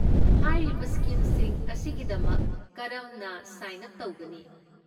ꯍꯥꯏꯔꯤꯕ ꯁ꯭ꯀꯤꯝꯁꯤꯡ ꯑꯁꯤꯒꯤꯗꯃꯛ ꯀꯔꯝꯅ ꯁꯥꯏꯟ ꯎꯞ ꯇꯧꯒꯅꯤ?